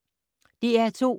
DR2